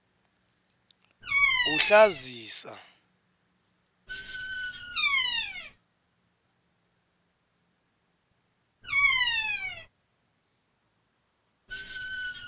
kuhlazisa